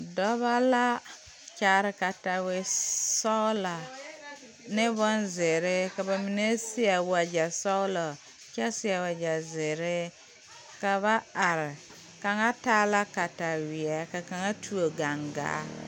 Dɔbɔ la kyaare katawisɔglaa neŋ bonzeere ka ba mine seɛ wagyɛ sɔglɔ kyɛ seɛ wagyɛ zeere ka ba are kaŋa taa la kataweɛ ka kaŋa tuo gaŋgaa.